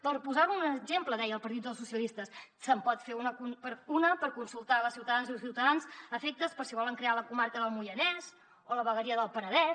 per posar ne un exemple deia el partit socialistes se’n pot fer una per consultar les ciutadanes i ciutadans afectes per si volen crear la comarca del moianès o la vegueria del penedès